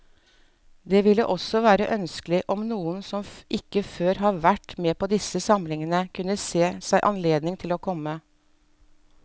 Det ville også være ønskelig om noen som ikke før har vært med på disse samlingene, kunne se seg anledning til å komme.